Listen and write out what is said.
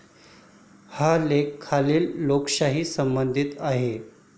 हा लेख खालील लेखकांशी संबंधीत आहे.